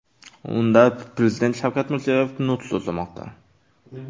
Unda Prezident Shavkat Mirziyoyev nutq so‘zlamoqda.